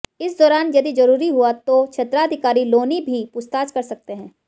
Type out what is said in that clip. इस दौरान यदि जरूरी हुआ तो क्षेत्राधिकारी लोनी भी पूछताछ कर सकते हैं